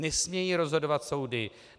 Nesmějí rozhodovat soudy.